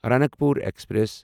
Ranakpur express